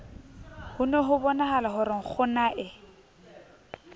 ne hobonahala ho re nkgonae